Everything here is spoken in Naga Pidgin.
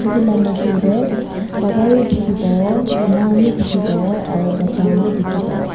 etu la maajo dae baba bi dikipabo ama khan bi diki pabo aro bacha khan bi diki bapabo.